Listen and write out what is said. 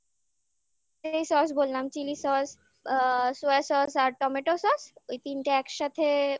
এই sauce বললামchili sauce sauce sauce আর tomato sauce ওই তিনটে একসাথে